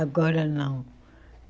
Agora não.